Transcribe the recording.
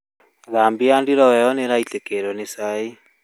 Thambia ndiroo ĩyo nĩ ĩraitĩkĩrwo nĩ cai